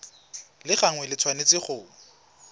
la gagwe le tshwanetse go